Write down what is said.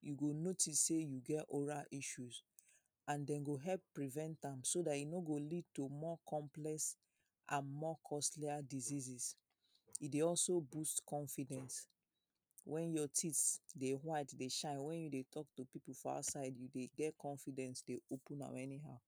you go notice sey you get oral issues and dem go help prevent am so dat e no go lead to more complex and more costlier diseases. E dey also boost confidence. When your teeth dey white dey shine, when you dey talk to people for outside, you dey get confidence dey open am anyhow.